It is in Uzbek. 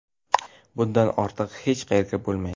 Bundan ortig‘i hech qayerdan bo‘lmaydi.